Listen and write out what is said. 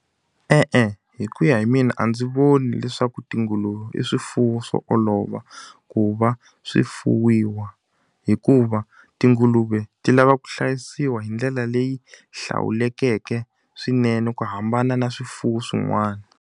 E-e hi ku ya hi mina a ndzi voni leswaku tinguluve i swifuwo swo olova, ku va swi fuwiwa. Hikuva tinguluve ti lava ku hlayisiwa hi ndlela leyi hlawulekeke swinene ku hambana na swifuwo swin'wana.